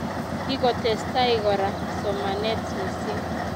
Kikotestai kora somanet mising